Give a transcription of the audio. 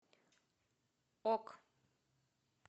ок